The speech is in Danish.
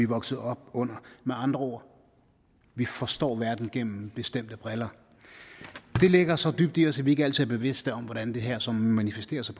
vokset op under med andre ord forstår vi verden gennem bestemte briller det ligger så dybt i os at vi ikke altid er bevidste om hvordan det her så manifesterer sig